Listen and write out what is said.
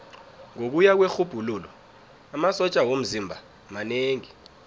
ngokuya kwerhubhululo amasotja womzimba manengi